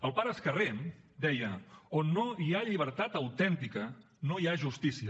el pare escarré deia on no hi ha llibertat autèntica no hi ha justícia